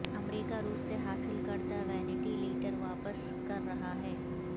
امریکہ روس سے حاصل کردہ وینٹی لیٹر واپس کر رہا ہے